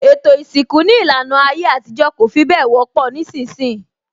Ètò isinku ní ìlànà ayé àtijọ́ kò fi bẹ wọ́pọ̀ nísìnsìnyí